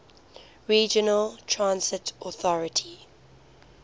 regional transit authority